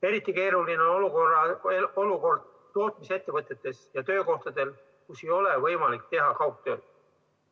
Eriti keeruline on olukord tootmisettevõtetes ja töökohtadel, kus ei ole võimalik teha kaugtööd.